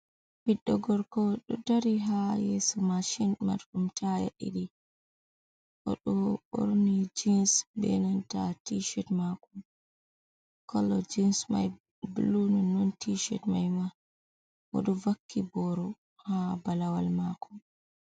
Ɓiɗɗo gorko, o ɗo dari haa yeeso maashin marɗum taya ɗiɗi, o ɗo ɓorni jins bee nanta tiishet maako kala jins mai bulu nonnon tiishet mai ma, o ɗo vakki booro haa balawal maako.